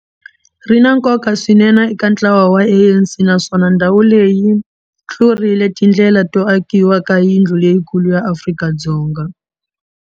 Ri na nkoka swinene eka ntlawa wa ANC, naswona ndhawu leyi yi pfurile tindlela to akiwa ka yindlu leyikulu ya Afrika-Dzonga.